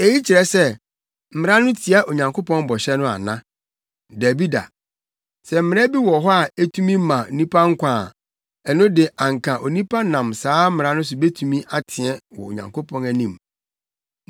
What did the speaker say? Eyi kyerɛ sɛ Mmara no tia Onyankopɔn bɔhyɛ no ana? Dabi da! Sɛ mmara bi wɔ hɔ a etumi ma nnipa nkwa a, ɛno de anka onipa nam saa mmara no so betumi ateɛ wɔ Onyankopɔn anim.